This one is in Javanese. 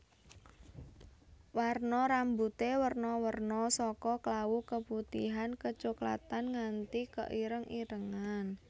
Warna rambuté werna werna saka klawu keputihan kecoklatan nganti keireng irengan